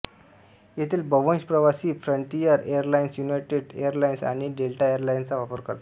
येथील बव्हंश प्रवासी फ्रंटियर एरलाइन्स युनायटेड एरलाइन्स आणि डेल्टा एरलाइन्सचा वापर करतात